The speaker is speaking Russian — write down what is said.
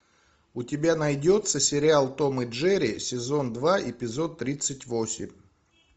у тебя найдется сериал том и джерри сезон два эпизод тридцать восемь